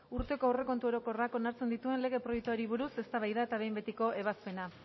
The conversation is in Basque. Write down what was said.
urteko aurrekontu orokorrak onartzen dituen lege proiektuari buruz eztabaida eta behin betiko ebazpena